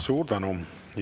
Suur tänu!